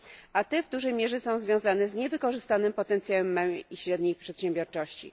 a te w dużej mierze są związane z niewykorzystanym potencjałem małej i średniej przedsiębiorczości.